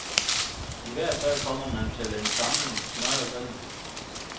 I hvert fald kommer man til en samling smørrede grin.